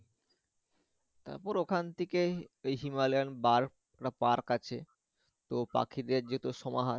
তারপর ওখান থেকে এই Himalayan bird park আছে তো পাখিদের যেহেতু সমাহার।